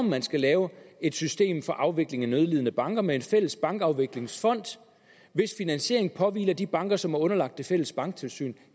man skal lave et system for afvikling af nødlidende banker med en fælles bankafviklingsfond hvis finansiering påhviler de banker som er underlagt det fælles banktilsyn